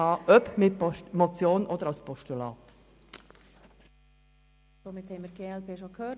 Somithaben wir die glp bereits gehört.